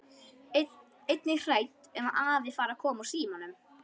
Einnig hrædd um að afi fari að koma úr símanum.